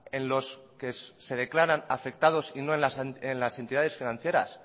en los que se declaran afectados y no en las entidades financieras